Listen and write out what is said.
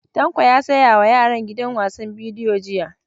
Tanko ya saya wa yaran gidan wasan bidiyo jiya.